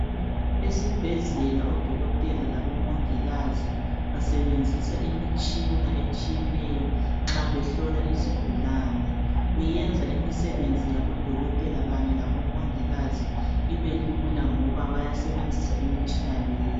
Esibhedlela odokotela labo mongikazi basebenzisa imitshina etshiyeneyo nxa behlola izigulane. Kuyenza imisebenzi yabo dokotela kanye labo mongikazi ibe lula ngoba bayasebenzisa imitshina leyi.